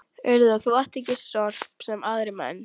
Urðar þú ekki sorp, sem aðrir menn?